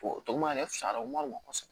O tɔgɔma yɛrɛ fisayara o ma nɔgɔn kosɛbɛ